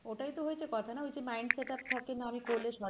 ওটাই তো হয়েছে কথা না ওই যে mind setup থাকে না অনেকের করলে সরকারি চাকরি করবো